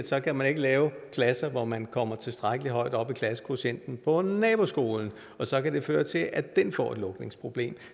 så kan man ikke lave klasser hvor man kommer tilstrækkelig højt op i klassekvotienten på naboskolen og så kan det føre til at den får et lukningsproblem